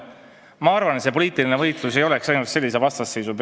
" Ma arvan, et poliitiline võitlus ei oleks siis jõudnud sellisesse vastasseisu.